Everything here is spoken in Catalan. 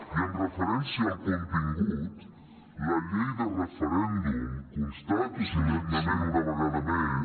i amb referència al contingut la llei de referèndum constato solemnement una vegada més